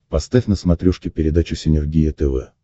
поставь на смотрешке передачу синергия тв